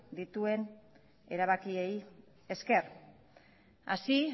dituen erabakiei esker así